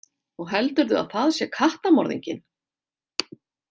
Og heldurðu að það sé kattamorðinginn?